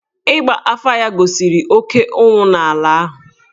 Ịgba afà ya gosiri oké ụnwụ n’ala ahụ.